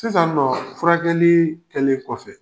Sisannɔɔ furakɛlii kɛlen kɔfɛ